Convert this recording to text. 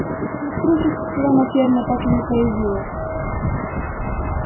правда электричества на ферме так и не появилось